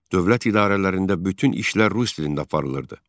Dövlət idarələrində bütün işlər rus dilində aparılırdı.